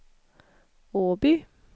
Åby